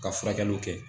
Ka furakɛliw kɛ